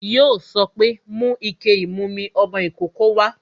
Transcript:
Yo sọ pé "Mú ike ìmumi ọmọ ìkókó wá"